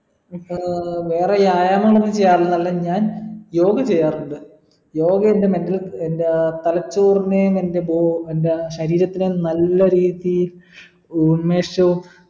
ആഹ് വേറെ വ്യായാമങ്ങൾ ഒന്നും ചെയ്യാറില്ല അല്ല ഞാൻ യോഗ ചെയ്യാറുണ്ട് യോഗ എൻ്റെ mental എന്താ തലച്ചോറിനെയും എൻ്റെ ബൊ എൻ്റെ ശരീരത്തിലെ നല്ല രീതീ ഉൻമേശോം